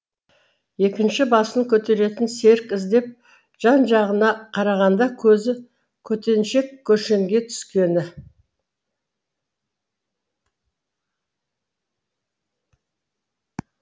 екінші басын көтеретін серік іздеп жан жағына қарағанда көзі көтеншек көшенге түскені